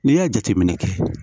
N'i ye jateminɛ kɛ